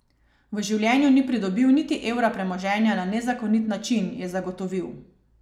V življenju ni pridobil niti evra premoženja na nezakonit način, je zagotovil.